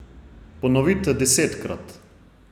Ponovite desetkrat.